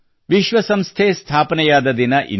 ವಿಶ್ವ ಸಂಸ್ಥೆ ಸ್ಥಾಪನೆಯಾದ ದಿನ ಇಂದು